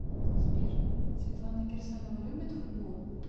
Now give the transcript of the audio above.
сбер светлана кирсанова любит футбол